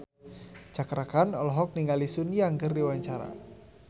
Cakra Khan olohok ningali Sun Yang keur diwawancara